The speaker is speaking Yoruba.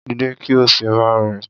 Dìde kí o sì máa rìn.